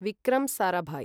Vikram Sarabhai